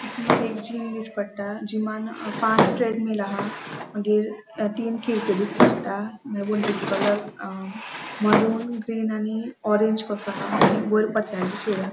माका एक जिम दिस्टी पट्टा जीमान पाच ट्रेडमिल आहा मागिर तीन खीड़क्यो दिस्टी पट्टा मागिर वण्टीचो कलर अ मरून ग्रीन आणि ऑरेंज कसो हा आणि वयर पत्र्यांची शेड --